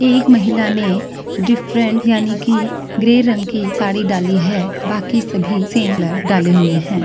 एक महिला ने डिफ़्रेंट यानि की ग्रे रंग की साड़ी डाली है बाकी सभी सेम कलर डाले हुए है।